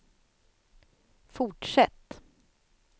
fortsätt